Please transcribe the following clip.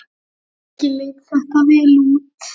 Ekki leit þetta vel út.